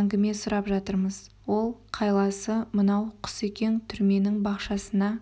әңгіме сұрап жатырмыз ол қайласы мынау құсекең түрменің бақшасына